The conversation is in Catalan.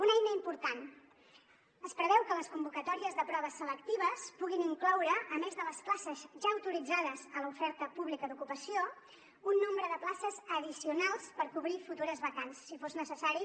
una eina important es preveu que les convocatòries de proves selectives puguin incloure a més de les places ja autoritzades a l’oferta pública d’ocupació un nombre de places addicionals per cobrir futures vacants si fos necessari